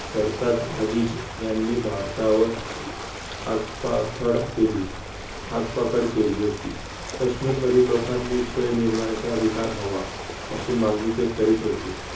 सरताज हजीज यांनी भारतावर आगपाखड केली आगपाखड केली होती. कश्मीर मधील लोकांनी स्वयं निर्माणच्या अधिकार हवा. अशी मागणी ते करीत होते.